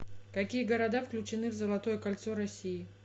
какие города включены в золотое кольцо россии